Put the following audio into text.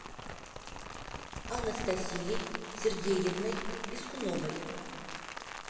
анастасией сергеевной пискуновой